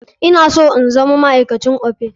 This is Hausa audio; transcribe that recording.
Ina so in zama ma'aikacin Opay.